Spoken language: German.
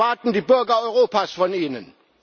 Das erwarten die Bürger Europas von Ihnen.